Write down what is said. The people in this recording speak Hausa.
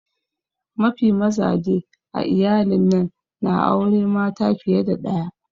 Mafi mazaje a iyalin'nan na aure mata fiye da daya.